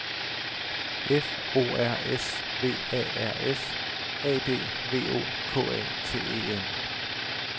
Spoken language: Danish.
F O R S V A R S A D V O K A T E N